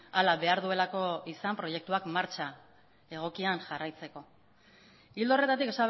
hala behar duelako izan proiektuak martxa egokian jarraitzeko ildo horretatik